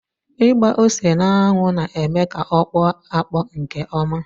Ịgba ose n'anwụ na-eme ka ọ kpọọ akpọ nke ọma.